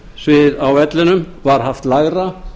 að spennusvið á vellinum var haft lægra